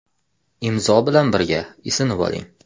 IMZO bilan birga isinib oling!.